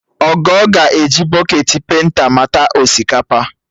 Ogo ga-eji bọketị penta mata osikapa